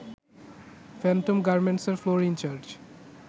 Phantom গার্মেন্টসের floor in charge